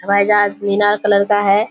हवाई जहाज मीनार कलर का हैं।